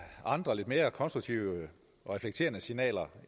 andre og lidt mere konstruktive og reflekterede signaler